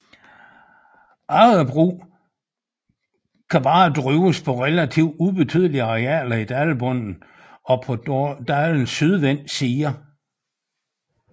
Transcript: Agerbrug kan kun drives på relativt ubetydelige arealer i dalbunden og på dalenes sydvendte sider